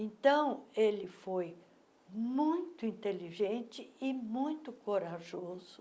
Então, ele foi muito inteligente e muito corajoso.